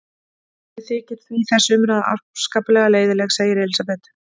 Mér þykir því þessi umræða afskaplega leiðinleg, segir Elísabet.